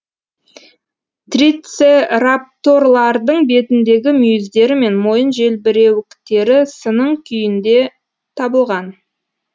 трицерапторлардың бетіндегі мүйіздері мен мойын желбіреуіктері сының күйінде табылған